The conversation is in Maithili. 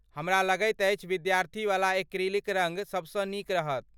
हमरा लगैत अछि विद्यार्थीवला एक्रिलिक रङ्ग सबसँ नीक रहत।